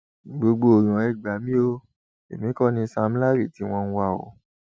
gbogbo èèyàn ẹ gbà mí o èmi kọ ni sam larry tí wọn ń wá o